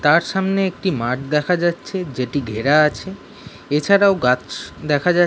তার সামনে একটি মাঠ দেখা যাচ্ছে যেটি ঘেরা আছে এছাড়াও গাছ দেখা যা--